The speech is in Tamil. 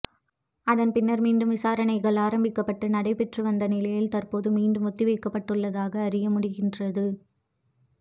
அதன் பின்னர் மீண்டும் விசாரணைகள் ஆரம்பிக்கப்பட்டு நடைபெற்று வந்த நிலையில் தற்போது மீண்டும் ஒத்திவைக்கப்பட்டுள்ளதாக அறிய முடிகின்றது